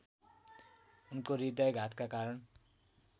उनको हृदयाघातका कारण